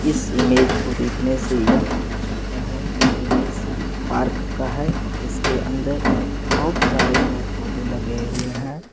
इस इमेज को देखने से यह पता चलता है की यह किसी पार्क का है जिसके अंदर बहुत सारे पेड़-पौधे लगे हुए हैं।